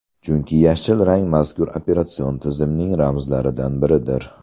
Chunki yashil rang mazkur operatsion tizimning ramzlaridan biridir.